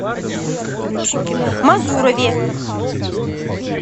мазурове